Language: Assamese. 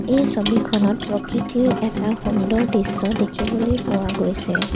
এই ছবিখনত প্ৰকৃতিৰ এটা সুন্দৰ দৃশ্য দেখিবলৈ পোৱা গৈছে।